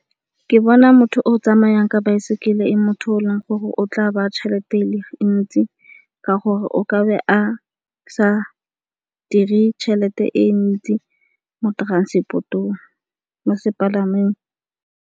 Ke bona motho o tsamayang ka baesekele e le motho o leng gore o tla baya tšhelete e ntsi ka gore o ka be a sa dire tšhelete e ntsi mo sepalangweng.